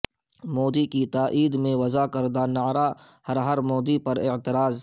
مودی کی تائید میں وضع کردہ نعرہ ہر ہر مودی پر اعتراض